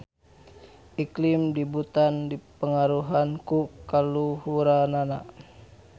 Iklim di Butan dipangaruhan ku kaluhuranana.